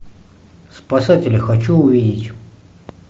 спасатели хочу увидеть